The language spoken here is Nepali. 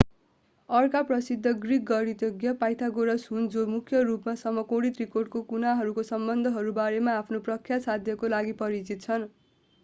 अर्का प्रसिद्ध ग्रिक गणितज्ञ pythagoras हुन्‌ जो मूख्य रूपमा समकोणी त्रिकोणका कुनाहरूको सम्बन्धहरू बारेमा आफ्नो प्रख्यात साध्यका लागि परिचित छन्।